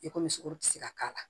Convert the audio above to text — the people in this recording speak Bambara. I komi sogo ti se ka k'a la